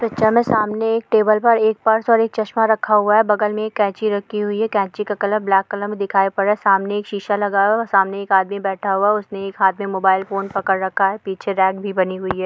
Picture मे सामने एक टेबल पर एक पर्स और एक चश्मा रखा हुआ है बगल मे एक कैंची रखी हुई है कैंची का कलर ब्लैक कलर मे दिखाई पड़ रहा है सामने एक शीशा लगा हुआ है सामने एक आदमी बैठा हुआ है उसने एक हाथ मे मोबाईल फोन पकड रखा है पीछे रैक भी बनी हुई है।